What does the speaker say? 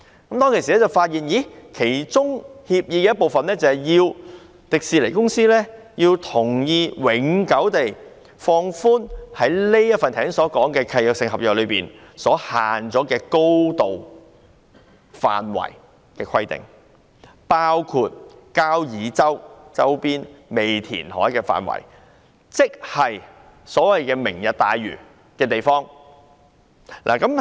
我當時發現協議的其中一部分，是要求迪士尼公司同意永久放寬剛才提及的限制性契約中的高度限制，包括交椅洲周邊尚未填海的範圍，亦即是"明日大嶼"的地點。